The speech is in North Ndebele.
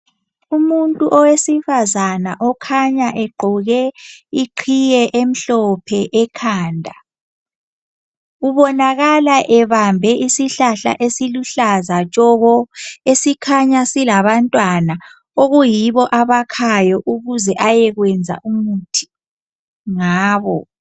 Umuntu owesifazane okhanya egqoke iqhiye emhlophe ekhanda. Ubonakala ebambe isihlahla esiluhlaza tshoko esikhanya silabantwana okuyibo abakhayo ukuze ayekwenza umuthi ngabo.